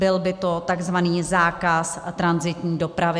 Byl by to tzv. zákaz tranzitní dopravy.